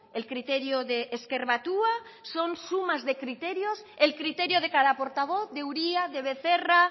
el criterio de ezker batua son sumas de criterios el criterio de cada portavoz de uria de becerra